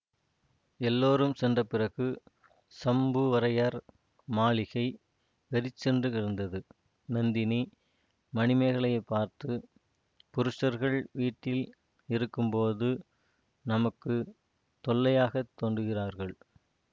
எல்லோரும் சென்ற பிறகு சம்புவரையர் மாளிகை வெறிச்சென்று இருந்தது நந்தினி மணிமேகலையைப் பார்த்து புருஷர்கள் வீட்டில் இருக்கும்போது நமக்கு தொல்லையாகத் தோன்றுகிறார்கள்